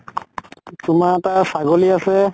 তোমাৰ এটা ছাগলী আছে